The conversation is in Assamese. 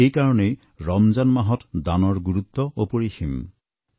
আৰু এইকাৰণেই ৰমজান মাহত দানৰ গুৰুত্ব অপৰিসীম